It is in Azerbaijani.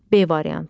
B variantı.